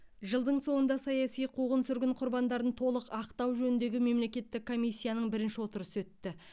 жылдың соңында саяси қуғын сүргін құрбандарын толық ақтау жөніндегі мемлекеттік комиссияның бірінші отырысы өтті